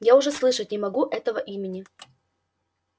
я уже слышать не могу этого имени